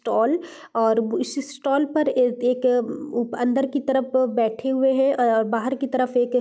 stall और इस stall पर एक एक अंदर की तरफ बैठे हुए हैं बाहर की तरफ एक --